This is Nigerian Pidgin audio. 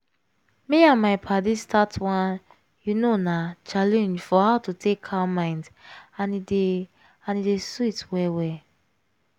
me and my paddies start one you know na challenge for how to take calm mind and e dey and e dey sweet well well.